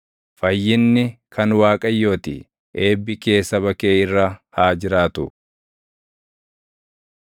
Fayyinni kan Waaqayyoo ti. Eebbi kee saba kee irra haa jiraatu.